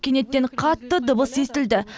кенеттен қатты дыбыс естілді